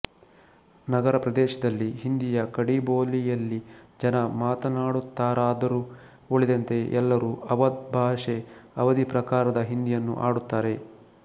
ನಗರಪ್ರದೇಶದಲ್ಲಿ ಹಿಂದಿಯ ಖಡೀಬೋಲಿಯಲ್ಲಿ ಜನ ಮಾತನಾಡುತ್ತಾರಾದರೂ ಉಳಿದಂತೆ ಎಲ್ಲರೂ ಅವಧ್ ಭಾಷೆ ಅವಧೀ ಪ್ರಕಾರದ ಹಿಂದಿಯನ್ನು ಆಡುತ್ತಾರೆ